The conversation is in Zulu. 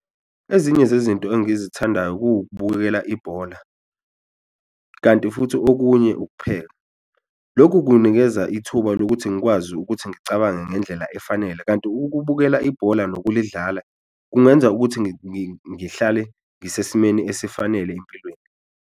Ezinye zezinto engizithandayo kuwukubukela ibhola kanti futhi okunye ukupheka, lokhu kungikeza ithuba lokuthi ngikwazi ukuthi ngicabange ngendlela efanele, kanti ukubukela ibhola nokulidlala kungenza ukuthi ngihlale ngisesimeni esifanele empilweni.